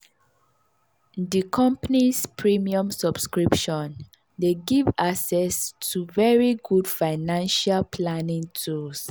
di company's premium subscription dey give access to very good financial planning tools.